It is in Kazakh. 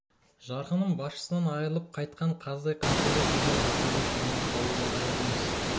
жарқыным басшысынан айырылып қайтқан қаздай қаңқылдап жүрген біздерді танымай қалу да ғажап емес